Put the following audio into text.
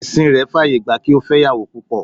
Ẹ̀sìn rẹ̀ faye gba kí ó fẹ́ ìyàwó púpọ̀